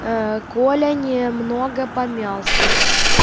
ээ коля немного помялся